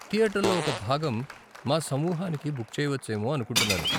థియేటర్లో ఒక భాగం మా సమూహానికి బుక్ చేయవచ్చేమో అనుకుంటున్నాను.